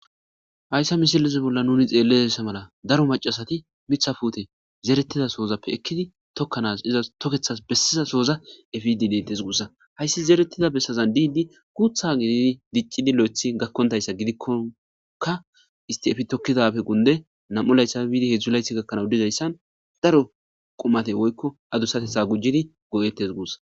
Hayssa misilezi bolla nuni xeellezassa mala daro macasati mitha fute zeretida soozappe ekkidi tokkanas izas tokethas bessiza sooza efidi dentes guussa hayssi zeretida bessazan diidi guutha gidii diccidi lo7ethi gakkontayssa gidikkonka isti efi tokkidappe gunde nam7u layssapfe biidi hedzdzu layti gakkanau dizayssan daro qumate woykko adusatetha gujjidi go7etes guussa.